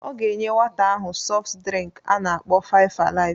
Ọ ga enye nwata ahụ sọft drịnk a na-akpọ five-alive